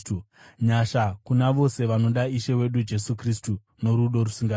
Nyasha kuna vose vanoda Ishe wedu Jesu Kristu norudo rusingaperi.